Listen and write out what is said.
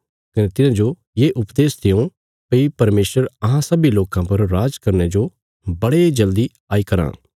कने तिन्हांजो ये उपदेश देयों भई परमेशर अहां सब्बीं लोकां पर राज करने जो बड़े जल्दी आई कराँ